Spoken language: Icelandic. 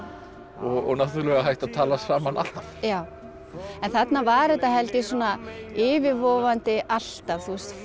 og náttúrulega hægt að tala saman alltaf já en þarna var þetta held ég svona yfirvofandi alltaf